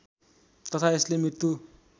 तथा यसले मृत्यु